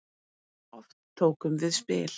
Oft tókum við spil.